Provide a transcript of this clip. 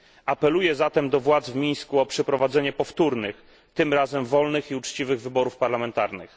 Apeluję zatem do władz w Mińsku o przeprowadzenie powtórnych, tym razem wolnych i uczciwych wyborów parlamentarnych.